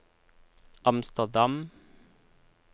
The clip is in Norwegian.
Amsterdam